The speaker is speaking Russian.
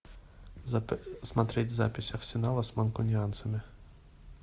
смотреть запись арсенала с манкунианцами